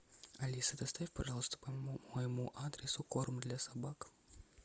алиса доставь пожалуйста по моему адресу корм для собак